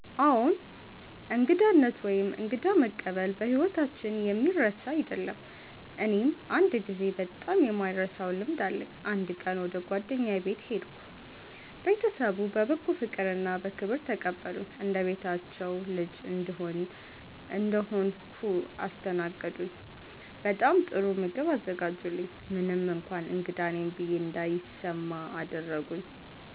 አዎን፣ እንግዳነት ወይም እንግዳ መቀበል በሕይወታችን የሚረሳ አይደለም። እኔም አንድ ጊዜ በጣም የማልረሳውን ልምድ አለኝ። አንድ ቀን ወደ ጓደኛዬ ቤት ሄድሁ። ቤተሰቡ በበጎ ፍቅርና በክብር ተቀበሉኝ። እንደ ቤታቸው ልጅ እንደሆንሁ አስተናገዱኝ፤ በጣም ጥሩ ምግብ አዘጋጁልኝ፣ ምንም እንኳን እንግዳ ነኝ ብዬ እንዳይሰማ አደረጉኝ።